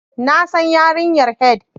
Na san yarinyar Head